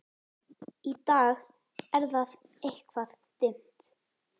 Í dag er það eitthvað dimmt.